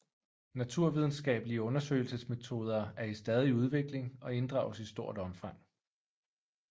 Naturvidenskabelige undersøgelsesmetoder er i stadig udvikling og inddrages i stort omfang